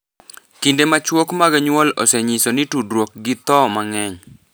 Kinde machuok mag nyuol osenyiso ni tudruok gi tho mang’eny,